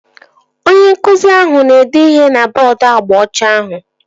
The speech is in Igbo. Onye nkụzi ahụ na-ede ihe na bọọdu agba ọcha ahụ